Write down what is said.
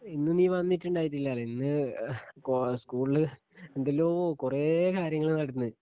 ഇന്ന് നീ വന്നിട്ടിണ്ടായിന്നില്ലാലെ ഇന്ന് കോ സ്ക്കൂൾല് എന്തെല്ലോ കൊറേ കാര്യങ്ങള് നടന്ന്